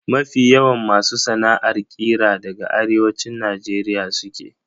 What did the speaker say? Mafi yawan masu sana'ar ƙira daga Arewacin Najeriya suke.